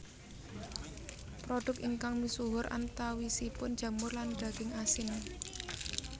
Produk ingkang misuhur antawisipun jamur lan daging asin